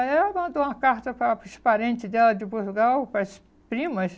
Aí ela mandou uma carta para para os parentes dela de Portugal, para as primas.